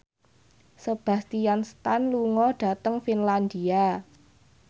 Sebastian Stan lunga dhateng Finlandia